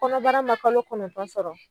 Kɔnɔbara ma kalo kɔnɔntɔn sɔrɔ